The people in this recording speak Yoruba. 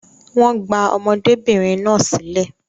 Wọ́n gba ọmọdébìnrin náà sílẹ̀